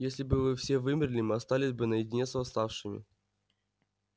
если бы вы все вымерли мы остались бы наедине с восставшими